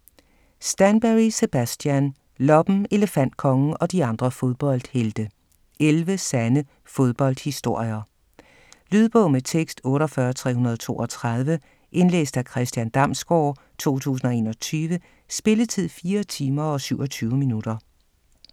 Stanbury, Sebastian: Loppen, Elefantkongen og de andre fodboldhelte: 11 sande fodboldhistorier Lydbog med tekst 48332 Indlæst af Christian Damsgaard, 2021. Spilletid: 4 timer, 27 minutter.